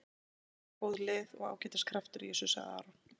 Tvö góð lið og ágætis kraftur í þessu, sagði Aron.